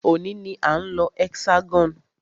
Òní ní a ń lọ Hexagon.